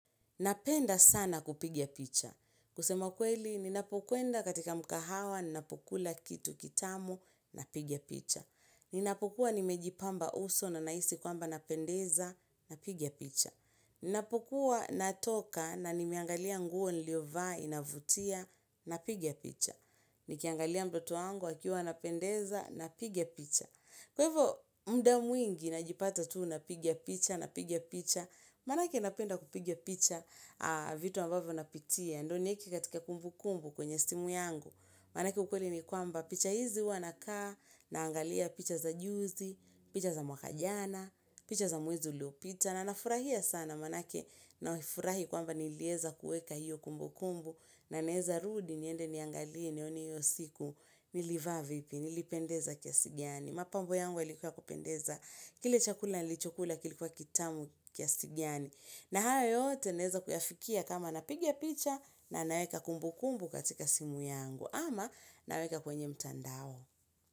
Napenda sana kupiga picha. Kusema kweli, ninapokwenda katika mkahawa, ninapokula kitu kitamu, napiga picha. Ninapokuwa nimejipamba uso na nahisi kwamba napendeza, napiga picha. Ninapokuwa natoka na nimeangalia nguo niliyovaa inavutia, napiga picha. Nikiangalia mtoto wangu akiwa anapendeza, napiga picha. Kwa hivo muda mwingi najipata tu napiga picha napiga picha Maanake napenda kupiga picha vitu ambavyo napitia, Ndio nieke katika kumbukumbu kwenye simu yangu maanake ukweli ni kwamba picha hizi huwa nakaa Naangalia picha za juzi, picha za mwaka jana, picha za mwezi uliopita na nafurahia sana maanake nafurahi kwamba niliweza kuweka hiyo kumbukumbu na naeza rudi niende niangalie nione hiyo siku nilivaa vipi nilipendeza kiasi gani. Mapambo yangu ilikuwa ya kupendeza. Kile chakula nilichokula kilikuwa kitamu kiasi gani. Na haya yote naeza kuyafikia kama napigia picha na naweka kumbu kumbu katika simu yangu. Ama naweka kwenye mtandao.